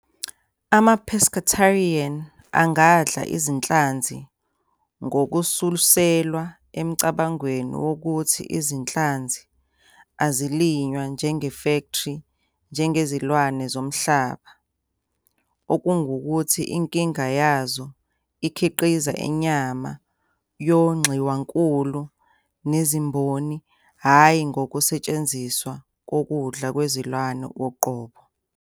Ama-Pescatarians angadla izinhlanzi ngokususelwa emcabangweni wokuthi izinhlanzi azilinywa njengefektri njengezilwane zomhlaba, okungukuthi, inkinga yazo ikhiqiza inyama yongxiwankulu nezimboni, hhayi ngokusetshenziswa kokudla kwezilwane uqobo.